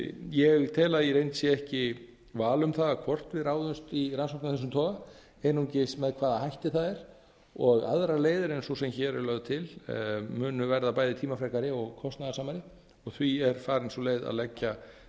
ég tel að í reynd sé ekki val um það hvort við ráðumst í rannsókn af þessum toga einungis með hvaða hætti það er og aðrar leiðir en sú sem hér er lögð til munu verða bæði tímafrekari og kostnaðarsamari og því er farin sú leið að leggja